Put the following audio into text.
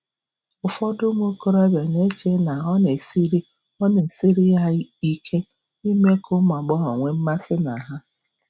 Ụfọdụ ụmụ okorobịa na-eche na ọ na-esiri ọ na-esiri ha ike ime ka ụmụ agbọghọ nwee mmasị na ha.